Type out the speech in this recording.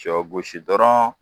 Cɔw gosi dɔrɔn